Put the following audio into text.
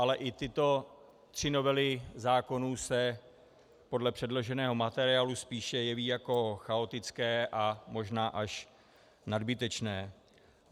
Ale i tyto tři novely zákonů se podle předloženého materiálu spíše jeví jako chaotické a možná až nadbytečné.